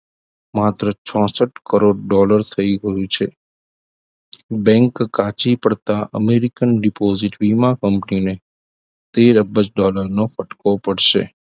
માત્ર ચોસઠ કરોડ dollar થઈ ગયું છે bank કાચી પડતા અમેરિકન deposit વીમા company ને તેર અબજ dollar નો ફટકો પડશે